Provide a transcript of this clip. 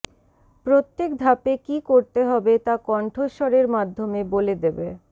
প্রত্যেক ধাপে কী করতে হবে তা কন্ঠস্বরের মাধ্যমে বলে দেবে